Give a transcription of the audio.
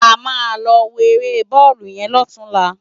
Ámá lò wó éré bòlú yèn lòtúnlá